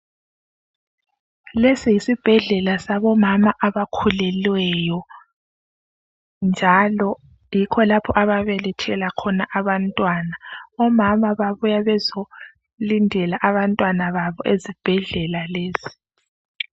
Lesi yisibhedlela sabomama abakhulelweyo njalo yikho lapho ababelethela khona abantwana. Omama babuya bezolindela abantwana babo ezibhedlela lesi.